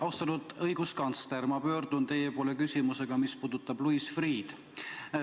Austatud õiguskantsler, ma pöördun teie poole küsimusega, mis puudutab Louis Freeh'd.